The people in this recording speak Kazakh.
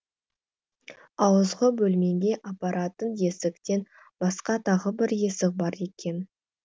ауызғы бөлмеге апаратын есіктен басқа тағы бір есік бар екен